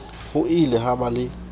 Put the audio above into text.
ho ile ha ba le